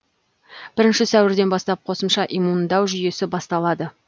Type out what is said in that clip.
бірінші сәуірден бастап қосымша иммундау жүйесі басталады